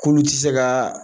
K' ulu ti se ka